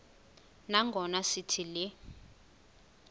nangona sithi le